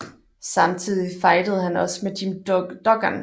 Samtidig fejdede han også med Jim Duggan